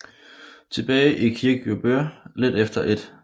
Tilbage i Kirkjubøur lidt efter 1